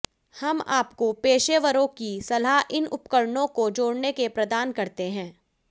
हम आपको पेशेवरों की सलाह इन उपकरणों को जोड़ने के प्रदान करते हैं